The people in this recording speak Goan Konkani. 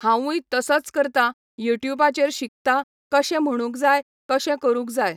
हांवूय तसोच करता, यूट्यूबाचेर शिकता, कशें म्हणूंक जाय, कशें करूंक जाय.